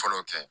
Fɔlɔ kɛ